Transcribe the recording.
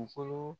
Kunkolo